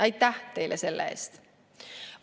Aitäh teile selle eest!